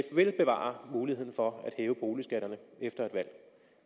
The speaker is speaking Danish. vil bevare muligheden for at hæve boligskatterne efter et valg